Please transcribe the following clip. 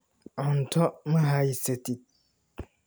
Cunto ma haysatid?